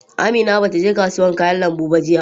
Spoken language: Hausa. Amina bata je kasuwar kayan lambu ba jiya.